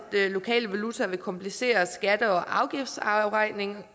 lokale valuta vil komplicere skatte og afgiftsafregningen